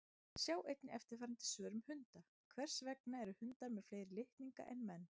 Sjá einnig eftirfarandi svör um hunda: Hvers vegna eru hundar með fleiri litninga en menn?